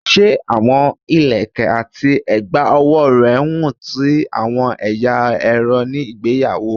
Se awọn ilẹkẹ ati a egba owo rẹ wun ti awọn ẹya ẹrọ ni igbeyawo?